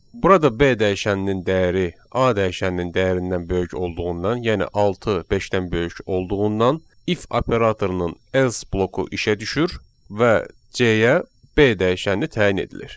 Burada B dəyişəninin dəyəri A dəyişəninin dəyərindən böyük olduğundan, yəni 6 beşdən böyük olduğundan, if operatorunun else bloku işə düşür və C-yə B dəyişəni təyin edilir.